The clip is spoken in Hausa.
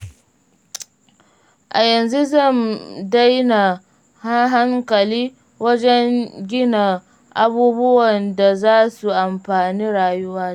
A yanzu zan maida hankali wajen gina abubuwan da za su amfani rayuwata.